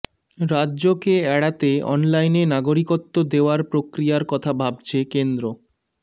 রাজ্যকে এড়াতে অনলাইনে নাগরিকত্ব দেওয়ার প্রক্রিয়ার কথা ভাবছে কেন্দ্র